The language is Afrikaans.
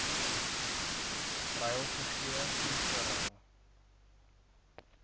ruil gegee ingeruil